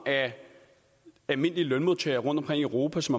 almindelige lønmodtagere rundtomkring i europa til